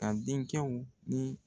Ka denkɛw ni